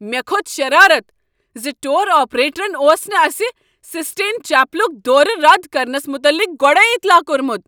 مےٚ کھوٚت شرارتھ ز ٹور آپریٹرن اوس نہٕ اسہ سسٹین چیپلک دورٕ رد کرنس متعلق گۄڈے اطلاع کوٚرمت۔